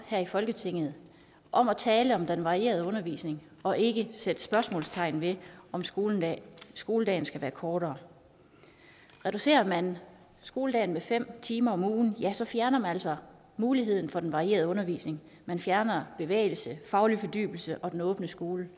her i folketinget om at tale om den varierede undervisning og ikke sætte spørgsmålstegn ved om skoledagen skoledagen skal være kortere reducerer man skoledagen med fem timer om ugen ja så fjerner man altså muligheden for den varierede undervisning man fjerner bevægelse faglig fordybelse og den åbne skole